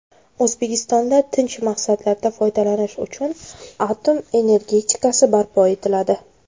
O‘zbekistonda tinch maqsadlarda foydalanish uchun atom energetikasi barpo etiladi.